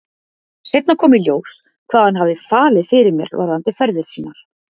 Seinna kom í ljós hvað hann hafði falið fyrir mér varðandi ferðir sínar.